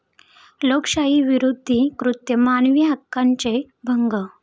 लोकशाहीविरोधी कृत्य, मानवीहक्कांचे भंग